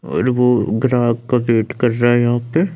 और वो ग्राहक का वेट कर रहा है यहां पे।